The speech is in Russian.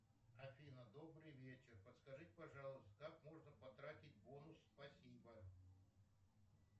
афина добрый вечер подскажите пожалуйста как можно потратить бонус спасибо